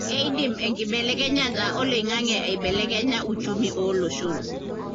keidim enkibelekenyata oloingange aibelekenya uchumi olooshon.